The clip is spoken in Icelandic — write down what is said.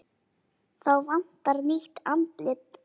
Þá vantar nýtt andlit.